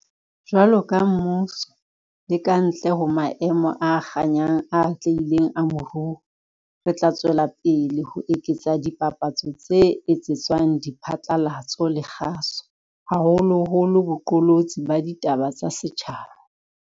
Jwaloka mmuso, le ka ntle ho maemo a kganyang a atlehileng a moruo, re tla tswela pele ho eketsa dipapatso tse etsetswang diphatlalatso le kgaso, haholoholo boqolotsi ba ditaba tsa setjhaba.